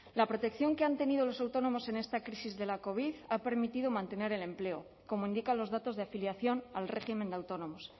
la protección que han tenido los autónomos en esta crisis de la covid ha permitido mantener el empleo como indican los datos de afiliación al régimen de autónomos